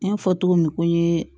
N y'a fɔ cogo min ko n ye